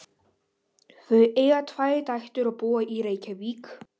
Þau eiga tvær dætur og búa í Reykjavík.